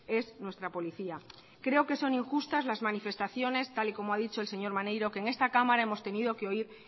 es nuestra policía creo que son injustas las manifestaciones tal y como ha dicho el señor maneiro que en esta cámara hemos tenido que oír